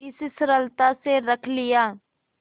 इस सरलता से रख लिया